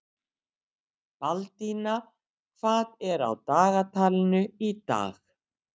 Baldína, hvað er á dagatalinu í dag?